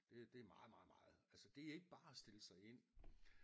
Det er meget meget meget altså det er ikke bare at stille sig ind